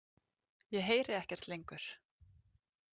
Ég heyri ekkert lengur.